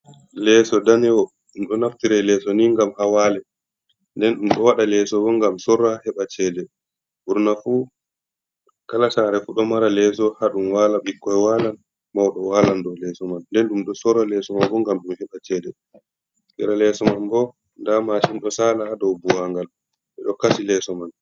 Leeso ɗanewo ɗum do naftira leso ni ngam hawale. nɗen ɗum do waɗa leso bo gam sorra heɓa ceɗe. Burna fu kala sare fu ɗo mara leso haɗum wala. bikkoi walan mauɗo walan dow leso man. Nɗen ɗum ɗo sorra leso ma bo ngam ɗum heɓa ceɗe. Sera leso man bo ɗa mashin ɗo sala ha dow buwangal. Beɗo kasi leso man.